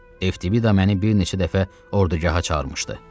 Eftivida məni bir neçə dəfə ordugaha çağırmışdı.